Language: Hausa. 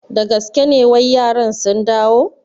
Da gaske ne wai yaran sun dawo?